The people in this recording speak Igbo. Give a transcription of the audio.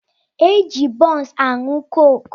E ji bunsu aṅụ koke